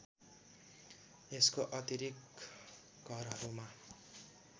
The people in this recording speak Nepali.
यसको अतिरिक्त घरहरूमा